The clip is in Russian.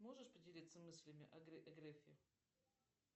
можешь поделиться мыслями о грефе